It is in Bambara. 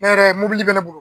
Ne yɛrɛ mɔbili be ne bolo.